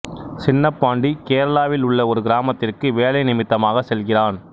சின்னபாண்டி கேரளாவில் உள்ள ஒரு கிராமத்திற்கு வேலை நிமித்தமாகச் செல்கிறான்